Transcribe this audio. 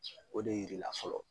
O de yir'i la fɔlɔ.